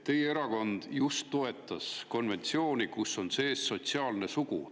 Teie erakond ju toetas seda konventsiooni, kus on sees sotsiaalne sugu.